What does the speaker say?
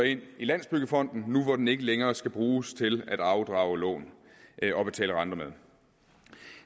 ind i landsbyggefonden nu hvor den ikke længere skal bruges til at afdrage lån og betale renter med